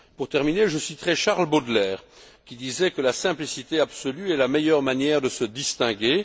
Pour terminer, je citerai Charles Baudelaire, qui disait que la simplicité absolue est la meilleure manière de se distinguer.